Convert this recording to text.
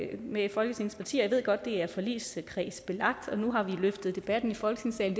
med folketingets partier jeg ved godt at det er forligskredsbelagt og nu har vi løftet debatten i folketingssalen